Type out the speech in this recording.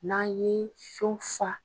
N'an ye son fa